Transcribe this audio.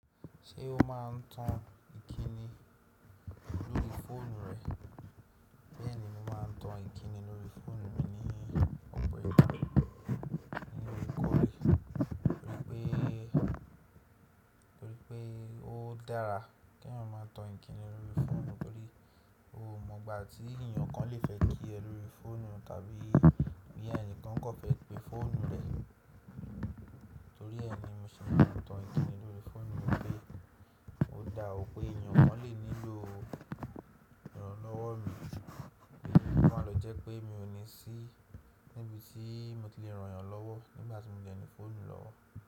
Ṣé o máa n tan ìkíni lórí fóònù rẹ? Bẹ́ẹ̀ ni mo máa n tan ìkíni lórí fóònù mi ní ọ̀pọ̀ ìgbà nínú ìkọ́lé, torí pé, torí pé ó dára kí ẹ̀yan máa tọ ìkíni lórí fóònù, torí o ò mọ̀ gbà tí ènìyàn kan lè fẹ́ kí ẹ lórí fóònù tàbí bí ẹ̀ni kan kò fẹ́ pe fóònù rẹ. Torí ẹ ni mo sì máa n tan ìkíni lórí fóònù mi pé ó dáwọ́ pé ènìyàn kan lè nílò rànlọ́wọ́ mi, èyí máa lọ jẹ́ pé mi ò ní sí níbi tí mo ti lè ràn ẹ́ lọ́wọ́ nígbà tí mo jẹ́ ní fóònù lọ́wọ́.